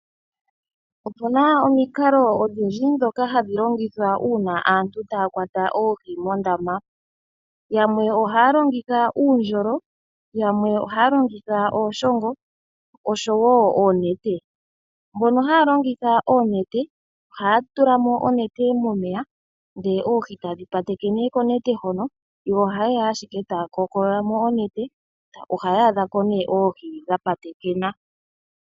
Opu na omikalo odhindji ndhoka hadhi longithwa uuna aantu taya kwata oohi mondama. Yamwe ohaya longitha uundjolo, yamwe ohaya longitha iishongo noshowo oonete. Mbono haya longitha oonete ohaya tula mo onete momeya dho oohi tadhi patekene konete hoka, yo ohaye ya ashike taya kookolola onete. Ohaya adhako oohi dha patekena.